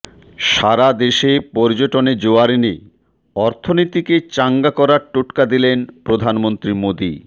সারা দেশে পর্যটনে জোয়ার এনে অর্থনীতিকে চাঙ্গা করার টোটকা দিলেন প্রধানমন্ত্রী মোদী